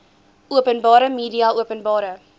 openbare media openbare